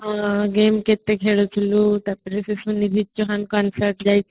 ହୁଁ green getup ରେ ରହୁଥିଲୁ ହୁଁ ତାପରେ